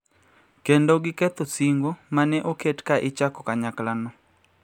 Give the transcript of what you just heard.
Kendo giketho singo ma ne oket ka ne ichako kanyaklano